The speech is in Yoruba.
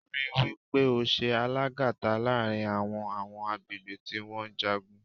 Rí wí pé o ṣe alàgàta láàrin àwọn àwọn agbègbè tí wọ́n ń jagun.